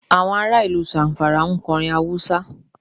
Àwọn ará ìlú Zamfara ń kọ orin Hausa.